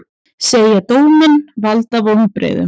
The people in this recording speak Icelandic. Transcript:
Segja dóminn valda vonbrigðum